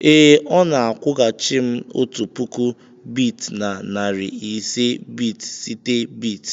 ee, ọ na-akwụghachi m otu puku bit na narị ise bit site bit.